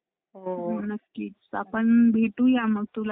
बसले काय काम नाही का बसली बसली कितीवेळा विचारलं तर बसलीच सांगत आहे.